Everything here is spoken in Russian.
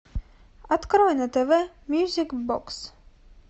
открой на тв мьюзик бокс